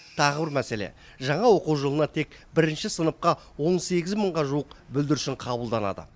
тағы бір мәселе жаңа оқу жылына тек бірінші сыныпқа он сегіз мыңға жуық бүлдіршін қабылданады